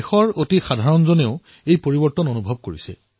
বন্ধুসকল দেশৰ সাধাৰণতম জনতাইও এই পৰিৱৰ্তন অনুভৱ কৰিছে